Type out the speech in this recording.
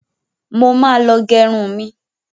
Mo ma lọ gẹrun mi.